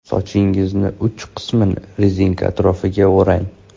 Sochingizning uch qismini rezinka atrofiga o‘rang.